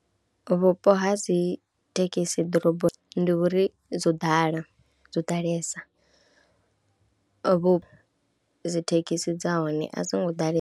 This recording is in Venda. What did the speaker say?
Vhupo ha dzi thekhisi ḓoroboni ndi uri dzo ḓala, dzo ḓalesa, vho dzi thekhisi dza hone a dzo ngo ḓalesa.